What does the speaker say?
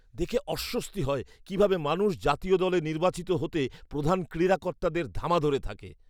দেখে অস্বস্তি হয়, কীভাবে মানুষ জাতীয় দলে নির্বাচিত হতে প্রধান ক্রীড়া কর্তাদের ধামা ধরে থাকে।